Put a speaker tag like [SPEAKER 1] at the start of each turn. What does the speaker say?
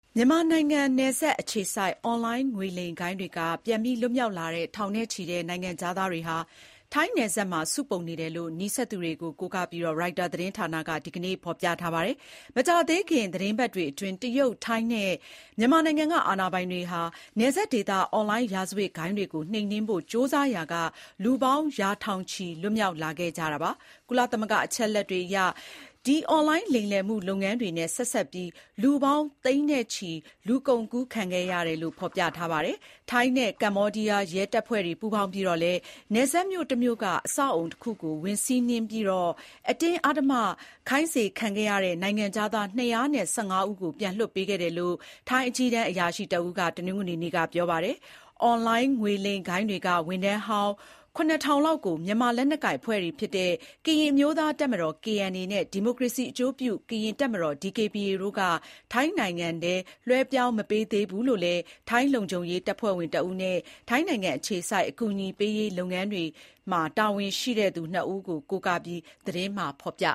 [SPEAKER 1] မြန်မာနိုင်ငံနယ်စပ်အခြေစိုက် အွန်လိုင်းငွေလိမ်ဂိုဏ်းတွေက ပြန်လွတ်လာကြတဲ့ ထောင်နဲ့ချီတဲ့ နိုင်ငံခြားသားတွေဟာ ထိုင်းနယ်စပ်မှာစုပုံနေတယ်လို့ နီးစပ်သူတွေကိုကိုးကားပြီး ရိုက်တာသတင်းဌာန က ဒီကနေ့ပဲ ပြောလိုက်ပါတယ်။ မကြာသေးခင် သီတင်းပတ်တွေအတွင်း တရုတ်၊ ထိုင်းနဲ့ မြန်မာနိုင်ငံ က အာဏာပိုင်တွေက နယ်စပ်ဒေသ အွန်လိုင်းရာဇဝတ်ဂိုဏ်းတွေကို နှိမ်နင်းဖို့ ကြိုးစားရာက လူပေါင်း ရာထောင်ချီ လွတ်မြောက်လာခဲ့ကြတာပါ။ ကုလသမဂ္ဂအချက်အလက်တွေအရ ဒီအွန်လိုင်းလိမ်လည်မှုလုပ်ငန်းတွေနဲ့ဆက်စပ်ပြီး လူပေါင်း သိန်း နဲ့ချီ လူကုန်ကူးခံခဲ့ရတယ်လို့ ဖော်ပြပါတယ်။ ထိုင်းနဲ့ကမ္ဘောဒီးယားရဲတပ်ဖွဲ့တွေပူးပေါင်းပြီး နယ်စပ်မြို့ တမြို့က အဆောက်အအုံတခုကို ဝင်စီးနင်းခဲ့ပြီးတော့ အတင်းအဓမ္မခိုင်းစေခံခဲ့ရတဲ့ နိုင်ငံခြားသား ၂၁၅ ဦးကို ပြန်လွှတ်ပေးခဲ့တယ်လို့ ထိုင်းအကြီးတန်းအရာရှိတဦးက တနင်္ဂနွေနေ့မှာ ပြောပါတယ်။ အွန်လိုင်းငွေလိမ်ဂိုဏ်းတွေက ဝန်ထမ်းဟောင်း ၇,၀၀၀ လောက်ကို မြန်မာလက်နက်ကိုင်အဖွဲ့တွေ ဖြစ်တဲ့ ကရင်အမျိုးသားတပ်မတော် (KNA) နဲ့ ဒီမိုကရေစီအကျိုးပြု ကရင်တပ်မတော် (DKBA) တို့က ထိုင်းနိုင်ငံထံ လွှဲပြောင်းမပေးသေးဘူးလို့လည်း ထိုင်းလုံခြုံရေးတပ်ဖွဲ့ဝင်တဦးနဲ့ ထိုင်းနိုင်ငံအခြေစိုက် အကူအညီပေးရေးလုပ်ငန်း တာဝန်ရှိသူနှစ်ဦးကို ကိုးကားပြီး သတင်းမှာဖော်
[SPEAKER 2] ပြ